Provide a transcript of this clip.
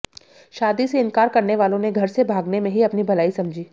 शादी से इनकार करने वालों ने घर से भागने में ही अपनी भलाई समझी